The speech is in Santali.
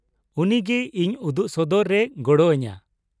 ᱩᱱᱤ ᱜᱮ ᱤᱧ ᱩᱫᱩᱜᱥᱚᱫᱚᱨ ᱨᱮᱭ ᱜᱚᱲᱚ ᱟᱹᱧᱟᱹ ᱾